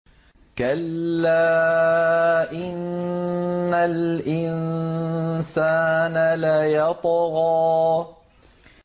كَلَّا إِنَّ الْإِنسَانَ لَيَطْغَىٰ